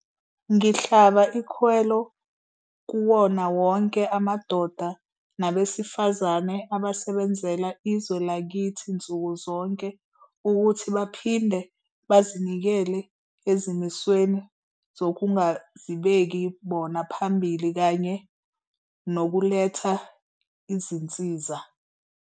Ngihlaba ikhwelo kuwona wonke amadoda nabesifazane abasebenzela izwe lakithi nsuku zonke ukuthi baphinde bazinikele ezimisweni zokungazibeki bona phambili kanye nokuletha izinsiza.